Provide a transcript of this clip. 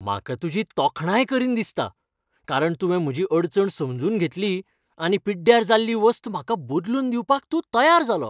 म्हाका तुजी तोखणाय करीन दिसता, कारण तुवें म्हजी अडचण समजून घेतली आनी पिड्ड्यार जाल्ली वस्त म्हाका बदलून दिवपाक तूं तयार जालो.